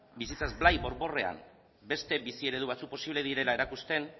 bizitzaz blai borborrean beste bizi eredu batzuk posible batzuk direla erakusten